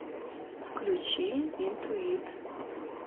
включи интуит